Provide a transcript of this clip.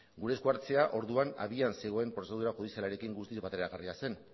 gure esku hartzea orduan abian zegoen prozedura judizialarekin guztiz bateragarria zen